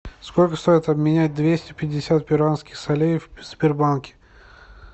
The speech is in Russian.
сколько стоит обменять двести пятьдесят перуанских солей в сбербанке